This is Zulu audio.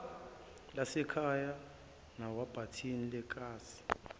lasekhaya nakwibhathini lekhasi